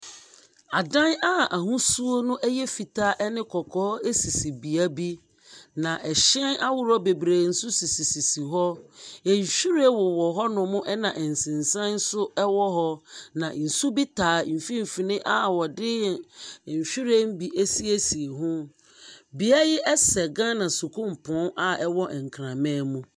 Adan a ahosuo no yɛ fitaa ɛne kɔkɔɔ sisi bea bi. Na ɛhyɛn ahorow bebree nso sisisisi hɔ. Nhwiren wɔnom na nsesan nso wɔ hɔ. Na nsu taa mfinimfini a wɔde nhwiren bi asiesie ho. Beae yi sɛ Ghana sukuupɔn a ɛwɔ Nkranman mu.